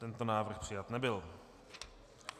Tento návrh přijat nebyl.